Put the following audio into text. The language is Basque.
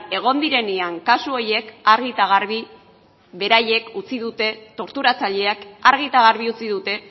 egon direnean kasu horiek argi eta garbi beraiek utzi dute torturatzaileak argi eta garbi utzi dute